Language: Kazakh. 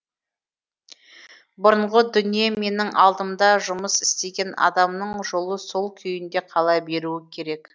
бұрынғы дүние менің алдымда жұмыс істеген адамның жолы сол күйінде қала беруі керек